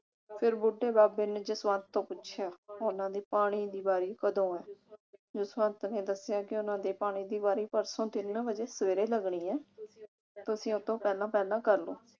ਫਿਰ ਬੁੱਢੇ ਬਾਬੇ ਨੇ ਜਸਵੰਤ ਤੋਂ ਪੁੱਛਿਆ ਉਨ੍ਹਾਂ ਦੀ ਪਾਣੀ ਦੀ ਵਾਰੀ ਕਦੋਂ ਆਣੀ। ਜਸਵੰਤ ਨੇ ਦੱਸਿਆ ਕਿ ਉਨ੍ਹਾਂ ਦੀ ਪਾਣੀ ਦੀ ਵਾਰੀ ਪਰਸੋਂ ਤਿੰਨ ਵਜੇ ਸਵੇਰੇ ਲੱਗਣੀ ਐ ਤੁਸੀਂ ਉਸ ਤੋਂ ਪਹਿਲਾਂ ਪਹਿਲਾਂ ਕਰਲੋ